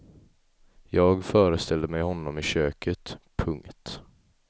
Jag föreställde mig honom i köket. punkt